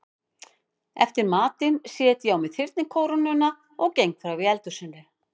Eftir matinn set ég á mig þyrnikórónuna og geng frá í eldhúsinu.